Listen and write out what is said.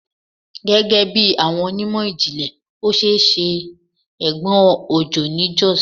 Gẹgẹbi awọn onimọ-jinlẹ, o ṣee ṣe egbon ojo ni Jos